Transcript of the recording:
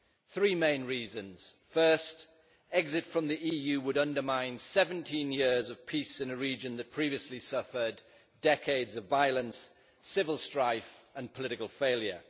Three main reasons First, exit from the EU would undermine 17 years of peace in a region that previously suffered decades of violence, civil strife and political failure.